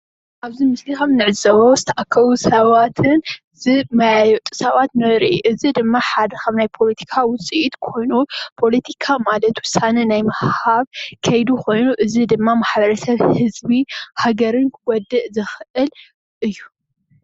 ኣብዚ ምስሊ ኸምንዕዘቦ ዝተኣከቡ ሳባትን ዝመያየጡ ሰባትን ንርኢ። እዚ ድማ ሓደ ኻብ ናይ ፖለቲካ ውፂኢት ኾይኑ ፓለቲካ ማለት ውሳነ ናይ ምውህሃብ ኸይዲ ኾይኑ አዚ ድማ ማሕበረሰብ ህዝቢ ሃገርን ፣ዓዲ ክጉድእ ዝኽእል እዩ።